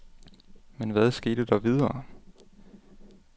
Men hvad skete der videre?